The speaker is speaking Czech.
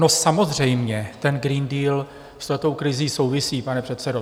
No samozřejmě, ten Green Deal s touto krizí souvisí, pane předsedo.